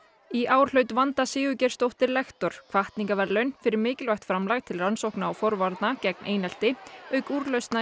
í ár hlaut Vanda Sigurgeirsdóttir lektor hvatningarverðlaun fyrir mikilvægt framlag til rannsókna og forvarna gegn einelti auk úrlausna í